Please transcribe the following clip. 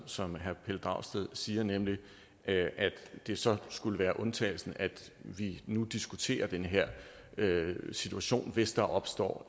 som herre pelle dragsted siger nemlig at det så skulle være undtagelsen at vi nu diskuterer den her situation hvis der opstår